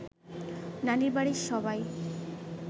নানির বাড়ির সবাই